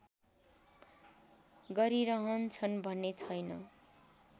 गरिरहन्छन् भन्ने छैन